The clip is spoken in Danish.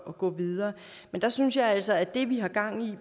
at gå videre men der synes jeg altså at det vi har gang i